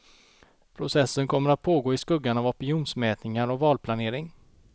Processen kommer att pågå i skuggan av opinionsmätningar och valplanering.